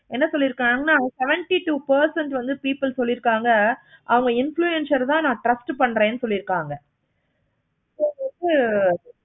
எண்ணத்துல இருக்காங்களோ percent வந்து people சொல்லிருக்காங்க அவங்க influencer தான் நா trust பன்ரேன் சொல்லிருக்காங்க so வந்து